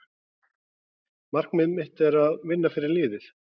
Markmið mitt er að vinna fyrir liðið.